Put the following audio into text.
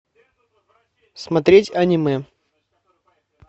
смотреть аниме